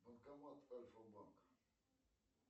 банкомат альфа банка